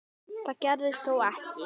Það gerðist þó ekki.